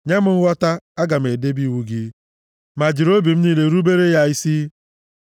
Nye m nghọta, aga m edebe iwu gị ma jiri obi m niile rubere ya isi.